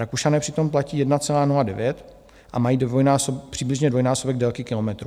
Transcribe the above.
Rakušané přitom platí 1,09 a mají přibližně dvojnásobek délky kilometrů.